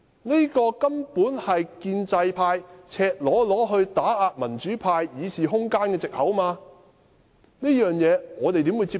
這根本是建制派赤裸裸打壓民主派議事空間的藉口，我們怎能接受？